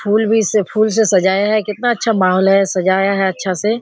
फूल भी इससे फूल से सजाया है केतना अच्छा माहौल है सजाया है अच्छा से --